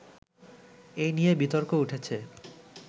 এ নিয়ে বিতর্ক উঠেছে